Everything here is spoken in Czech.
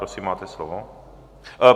Prosím, máte slovo.